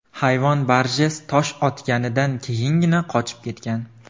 Hayvon Barjess tosh otganidan keyingina qochib ketgan.